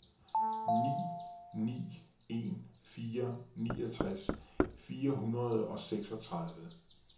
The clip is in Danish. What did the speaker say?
ni ni en fire niogtres fire hundrede og seksogtredive